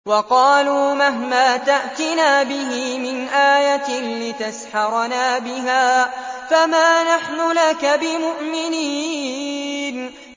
وَقَالُوا مَهْمَا تَأْتِنَا بِهِ مِنْ آيَةٍ لِّتَسْحَرَنَا بِهَا فَمَا نَحْنُ لَكَ بِمُؤْمِنِينَ